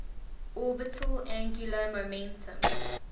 orbital angular momentum